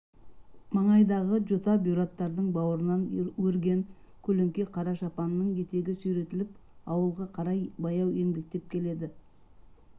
маңайдағы жота-бұйраттардың бауырынан өрген көлеңке қара шапанының етегі сүйретіліп ауылға қарай баяу еңбектеп келеді